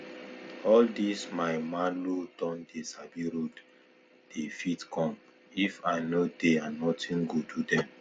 all dis my malu don dey sabi road the fit go come if i no dey and nothing go do dem